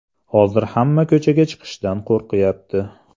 Hozir hamma ko‘chaga chiqishdan qo‘rqyapti.